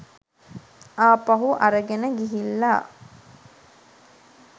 ආපහු අරගෙන ගිහිල්ලා.